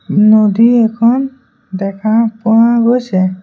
নদী এখন দেখা পোৱা গৈছে।